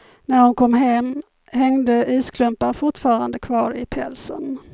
När hon kom hem hängde isklumpar fortfarande kvar i pälsen.